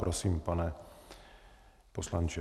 Prosím, pane poslanče.